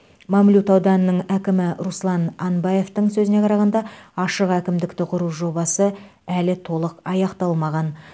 мамлют ауданының әкімі руслан анбаевтың сөзіне қарағанда ашық әкімдікті құру жобасы әлі толық аяқталмаған